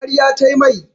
Karya ta mai.